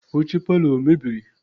Oche parlour emebiri?